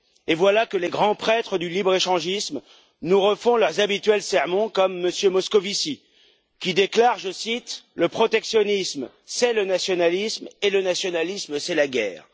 Et voilà que les grands prêtres du libre échangisme nous refont leurs habituels sermons, comme M. Moscovici, qui déclare le protectionnisme, c'est le nationalisme et le nationalisme, c'est la guerre.